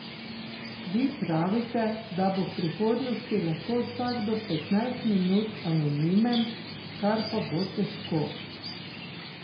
Vi pravite, da bo v prihodnosti lahko vsakdo petnajst minut anonimen, kar pa bo težko.